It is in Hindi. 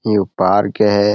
यो पार्क हैं।